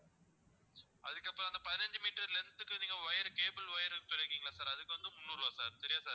அதுக்கப்பறம் அந்த பதினைஞ்சு meter length க்கு நீங்க wire cable wire சொல்லி இருக்கீங்கல்ல sir அதுக்கு வந்து முந்நூறு ரூபாய் sir சரியா sir